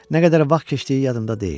Nə qədər vaxt keçdiyi yadımda deyil.